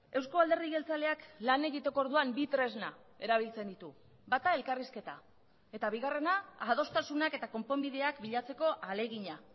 eusko alderdi jeltzaleak lan egiteko orduan bi tresna erabiltzen ditu bata elkarrizketa eta bigarrena adostasunak eta konponbideak bilatzeko ahalegina